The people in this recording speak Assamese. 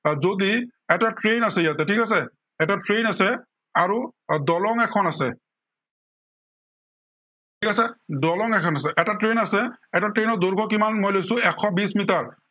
আহ যদি এটা train আছে, ইয়াতে ঠিক আছে। এটা train আছে, আহ আৰু দলং এখন আছে। তাত দলং এখন আছে, এটা train আছে, এটা train ৰ দৈৰ্ঘ্য় কিমান মই লৈছো, এশ বিশ মিটাৰ।